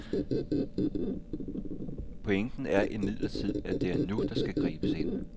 Pointen er imidlertid, at det er nu der skal gribes ind.